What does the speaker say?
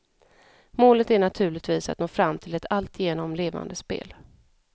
Målet är naturligtvis att nå fram till ett alltigenom levande spel.